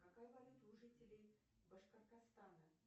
какая валюта у жителей башкортостана